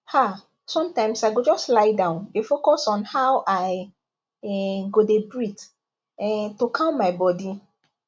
ah sometimes i go just lie down dey focus on how i um go dey breathe um to calm my body